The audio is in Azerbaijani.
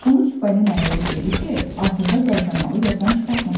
Onu Çippolinoya verib dedi ki, axırda qaytarmağı yaddan çıxartmasın.